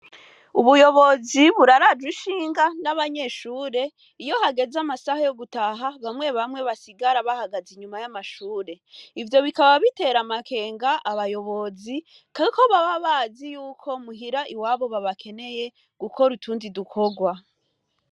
Ubuyobozi buraraja uishinga n'abanyeshure iyo hageze amasaha yo gutaha bamwe bamwe basigara bahagaze inyuma y'amashure ivyo bikaba bitera amakenga abayobozi kako babe abazi yuko muhira i wabo babakeneye gukora utundi dukorwa.